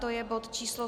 To je bod číslo